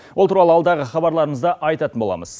ол туралы алдағы хабарларымызда айтатын боламыз